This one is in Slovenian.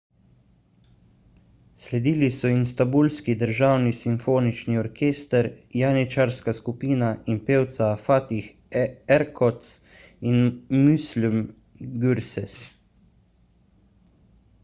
sledili so istanbulski državni simfonični orkester janičarska skupina in pevca fatih erkoç ter müslüm gürses